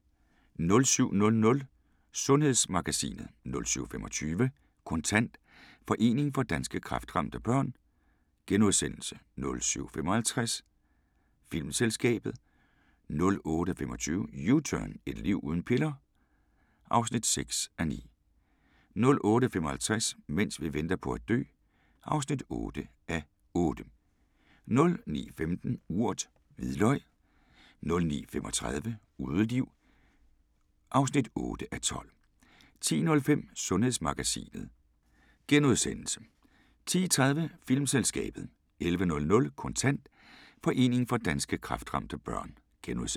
07:00: Sundhedsmagasinet 07:25: Kontant: Foreningen for Danske Kræftramte Børn * 07:55: Filmselskabet 08:25: U-turn 2 – Et liv uden piller? (6:9) 08:55: Mens vi venter på at dø (8:8) 09:15: Urt: Hvidløg 09:35: Udeliv (8:12) 10:05: Sundhedsmagasinet * 10:30: Filmselskabet 11:00: Kontant: Foreningen for Danske Kræftramte Børn *